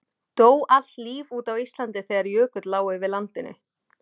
Dó allt líf út á Íslandi þegar jökull lá yfir landinu?